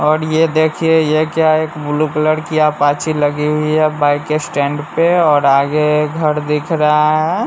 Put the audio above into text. और ये देखिए ये क्या है एक ब्लू कलर की आपाची लगी हुई है बाइक के स्टैंड पे और आगे घर दिख रहा है।